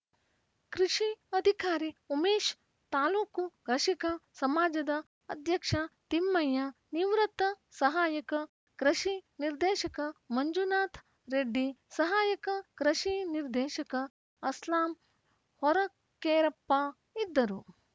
ಕೃಷಿ ಅಧಿಕಾರಿ ಉಮೇಶ್‌ ತಾಲೂಕು ಕೃಷಿಕ ಸಮಾಜದ ಅಧ್ಯಕ್ಷ ತಿಮ್ಮಯ್ಯ ನಿವೃತ್ತ ಸಹಾಯಕ ಕೃಷಿ ನಿರ್ದೇಶಕ ಮಂಜುನಾಥ ರೆಡ್ಡಿ ಸಹಾಯಕ ಕೃಷಿ ನಿರ್ದೆಶಕ ಅಸ್ಲಾಂ ಹೊರಕೇರಪ್ಪ ಇದ್ದರು